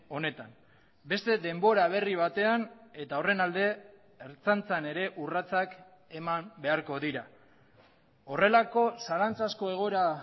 honetan beste denbora berri batean eta horren alde ertzaintzan ere urratsak eman beharko dira horrelako zalantzazko egoera